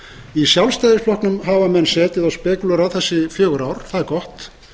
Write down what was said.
í sjálfstæðisflokknum hafa menn setið og spekúlerað þessi fjögur ár það er gott